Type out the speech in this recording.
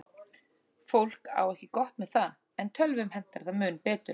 Fólk á ekki gott með það, en tölvum hentar það mun betur.